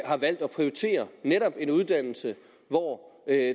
har valgt at prioritere netop en uddannelse hvor